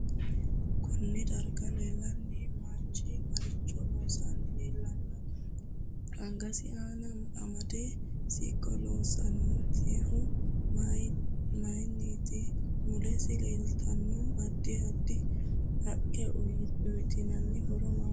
Konne darga leelanno manchi maricho loosani leelanno angasinni amadino siqqo loosantinohu mayiiniti mulesi leeltanno addi addi haqqe uyiitanno horo maati